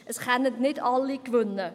Es können nicht alle gewinnen.